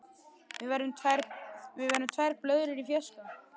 Við verðum tvær blöðrur í fjarska.